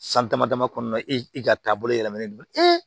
San dama dama kɔnɔna na i ka taabolo yɛlɛmalen don